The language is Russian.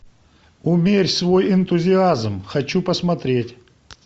умерь свой энтузиазм хочу посмотреть